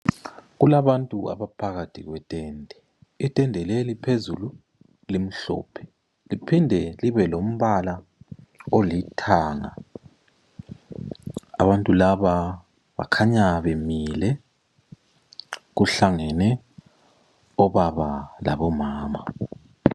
Kulabantu abaphakathi kwetende, Itende leli phezulu limhlophe liphinde libe lombala olithanga. Abantu laba bakhanya bemile. Kuhlangene obaba labomama.